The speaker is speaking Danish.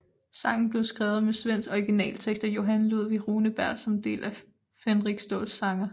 Sangen blev skrevet med svensk originaltekst af Johan Ludvig Runeberg som del af Fänrik Ståls sägner